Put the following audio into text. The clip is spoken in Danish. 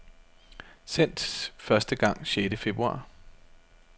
Sendt første gang sjette februar.